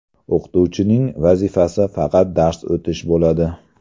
O‘qituvchining vazifasi faqat dars o‘tish bo‘ladi.